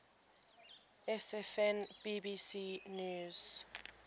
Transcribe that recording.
sfn bbc news